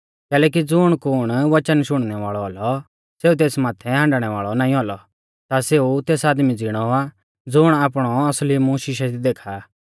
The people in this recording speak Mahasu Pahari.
कैलैकि ज़ुण कुण वचन शुणनै वाल़ौ औलौ और तेस माथै हाण्डणै वाल़ौ नाईं औलौ ता सेऊ तेस आदमी ज़िणौ आ ज़ुण आपणौ असली मूंह शिशे दी देखा आ